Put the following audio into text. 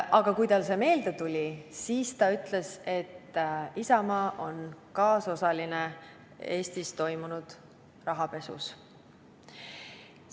Aga kui see talle meelde tuli, siis ta ütles, et Isamaa on kaasosaline Eestis toimunud rahapesus.